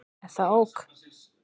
Er það ok?